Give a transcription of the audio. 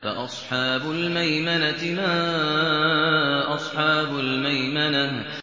فَأَصْحَابُ الْمَيْمَنَةِ مَا أَصْحَابُ الْمَيْمَنَةِ